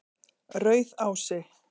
Rauðási